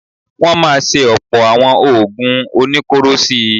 Wọ́n máa ṣe ọ̀pọ̀ àwọn oògùn oníkóró sí i.